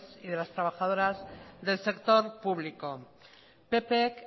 y las trabajadoras del sector público ppk